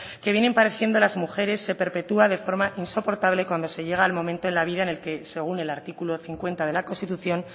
que vienen padeciendo las mujeres se perpetua de forma insoportable cuando se llega al momento en la vida en el que según el artículo cincuenta de la constitución